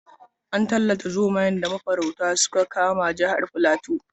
An tallata zomayen da mafaurata suka kama jihar Fulato.